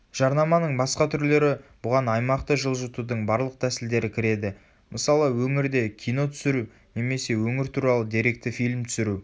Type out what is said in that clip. жарнаманың басқа түрлері бұған аймақты жылжытудың барлық тәсілдері кіреді мысалы өңірде кино түсіру немесе өңір туралы деректі фильм түсіру